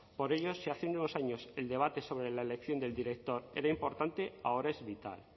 por ello si hace unos años el debate sobre la elección del director era importante ahora es vital